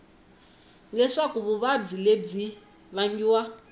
leswaku vuvabyi lebyi byi vangiwa